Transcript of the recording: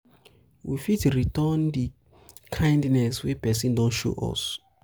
we fit return return di kindness wey person don show us